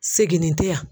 Seginni tɛ yan